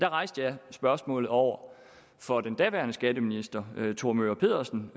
rejste spørgsmålet over for den daværende skatteminister thor möger pedersen